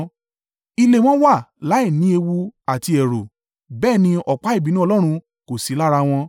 Ilé wọn wà láìní ewu àti ẹ̀rù, bẹ́ẹ̀ ni ọ̀pá ìbínú Ọlọ́run kò sí lára wọn.